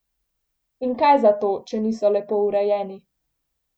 In kaj zato, če niso lepo urejeni.